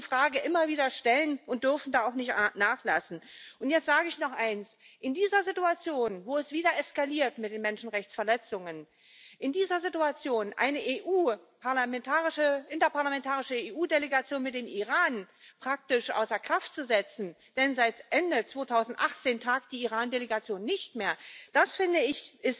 Wir müssen diese Frage immer wieder stellen und dürfen da auch nicht nachlassen. Und jetzt sage ich noch eins In dieser Situation, wo es mit den Menschenrechtsverletzungen wieder eskaliert, eine interparlamentarische EU Delegation mit dem Iran praktisch außer Kraft zu setzen denn seit Ende 2018 tagt die Iran Delegation nicht mehr das finde ich